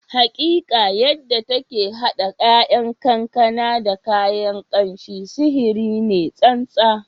Hakika! Yadda take hada 'ya'yan kankana da kayan kamshi, sihiri ne tsantsa